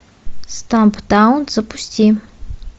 стамптаун запусти